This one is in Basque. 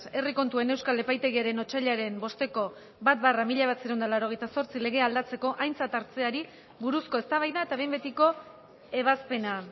herri kontuen euskal epaitegiaren otsailaren bosteko bat barra mila bederatziehun eta laurogeita zortzi legea aldatzeko aintzat hartzeari buruzko eztabaida eta behin betiko ebazpena